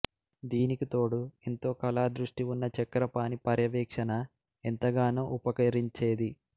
దీనికి తోడు ఎంతో కళా దృష్టి ఉన్న చక్రపాణి పర్యవేక్షణ ఎంతగానో ఉపకరించేది